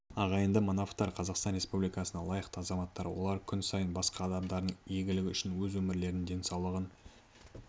ағайынды манаповтар қазақстан республикасының лайықты азаматтары олар күн сайын басқа адамдардың игілігі үшін өз өмірлерін денсаулығын